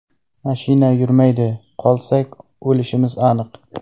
Mashina yurmaydi, qolsak, o‘lishimiz aniq.